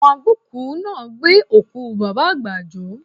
Àwọn agbókùú náà gbé òkú Bàbá àgbà jó